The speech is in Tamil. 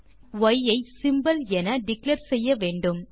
நாம் ய் ஐ சிம்போல் என டிக்ளேர் செய்ய வேண்டும்